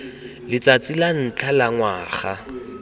letsatsi la ntlha la ngwaga